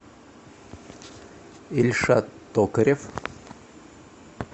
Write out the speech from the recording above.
ильшат токарев